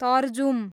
तरजुम